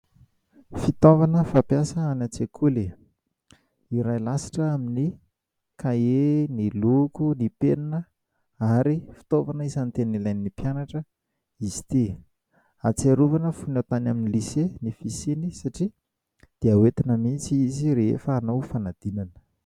Fitaovana fampiasa any an-tsekoly iray lasitra amin'ny kahie, ny loko, ny penina ary anisany fitaovana tena ilain'ny mpianatra izy ity. Ahatsiarovana tany amin'ny "lycée" satria dia entina mihitsy izy ity rehefa hanao fanadinana.